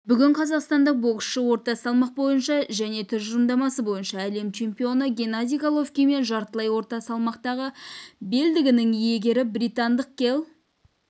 бүгін қазақстандық боксшы орта салмақ бойынша және тұжырымдамасы бойынша әлем чемпионы геннадий головкин мен жартылай орта салмақтағы белдігінің иегері британдық келл